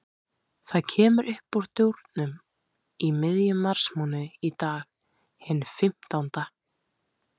Það kemur uppúr dúrnum í miðjum marsmánuði, í dag, hinn fimmtánda.